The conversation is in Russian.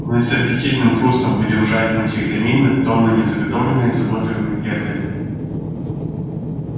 мы с аппетитным хрустом будем жать мультивитамины тоннами заготовленные заботливыми предками